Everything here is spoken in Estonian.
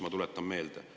" Ma tuletan seda meelde.